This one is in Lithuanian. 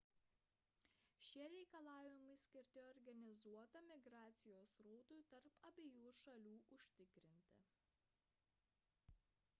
šie reikalavimai skirti organizuotam migracijos srautui tarp abiejų šalių užtikrinti